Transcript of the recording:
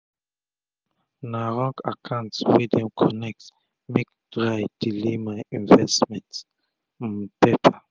um na wrong akant wey dem connect make dry delay my investment um paper